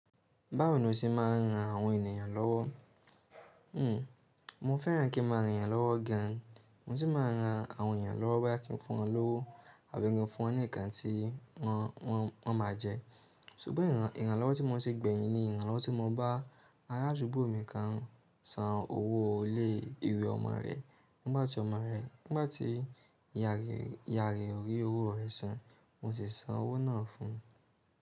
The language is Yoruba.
Báwo ni o ṣe máa ń ran àwọn ènìyàn lọ́wọ́? Mo fẹ́ràn kí i máa ran èèyàn lọ́wọ́ gan. Mo si máa ń ran àwọn èèyàn lọ́wọ́ boya kí i fún wọn lówó àbí kii fún wọn ní nǹkan tí wọ́n máa jẹ. Sugbọn ìrànlọ́wọ́ tí mo ṣe gbẹ̀yìn ni ìrànlọ́wọ́ tí mo bá ará àdúgbò mi kan san owó ilé ìwé ọmọ rẹ nígbà tí ìyá rẹ̀ ò rí owó rẹ̀ san. Mo sì san owó náà fún un.